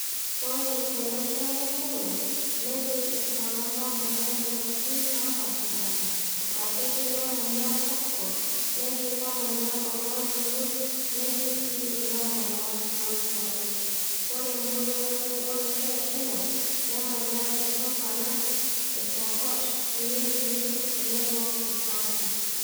Ore tolosho lekenya netii iltung'anak oomanya inkuapi naa pashipasha, aa ketii loomanya kopkop, naa ketii loomanya loontoluo, netii sii loomanya moikwape. Ore moikwape olosho lekenya, nemanya ilturkana, ilpokot, irendile tenebo isampur.